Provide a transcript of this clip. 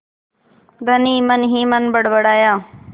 धनी मनहीमन बड़बड़ाया